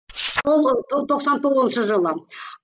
ол ы тоқсан тоғызыншы жылы